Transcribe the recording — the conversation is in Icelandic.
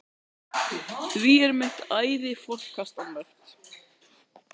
Því er allt mitt æði forkastanlegt.